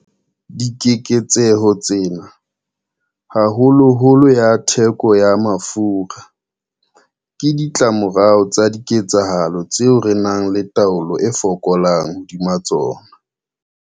Dikeketseho tsena, haholoholo ya theko ya mafura, ke ditlamorao tsa diketsahalo tseo re nang le taolo e fokolang hodima tsona.